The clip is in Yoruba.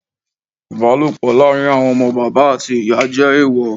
Ìbálòpọ̀ láàrin àwọn ọmọ bàbá àti ìyá jẹ́ èèwọ̀.